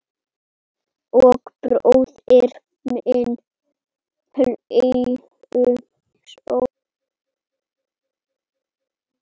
Og bróðir minn hlýju Sofíu.